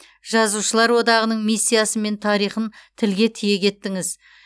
жазушылар одағының миссиясы мен тарихын тілге тиек еттіңіз